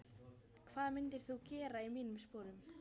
hvað myndir þú gera í mínum sporum?